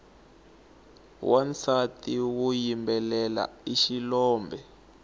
wansati woyimbelela i xilombe